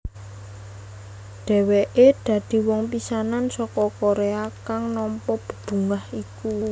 Dheweke dadi wong pisanan saka Korea kang nampa bebungah iku